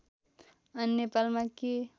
अनि नेपालमा के